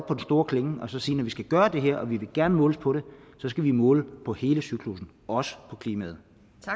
den store klinge og sige når vi skal gøre det her og vi vil gerne måles på det så skal vi måle på hele cyklussen også på klimaet